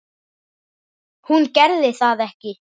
Hún gerði það ekki.